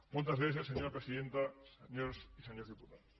moltes gràcies senyora presidenta senyores i senyors diputats